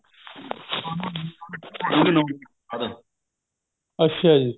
ਅੱਛਾ ਜੀ